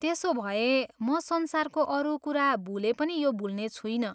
त्यसोभए, म संसारको अरू कुरा भुले पनि यो भुल्ने छुइनँ।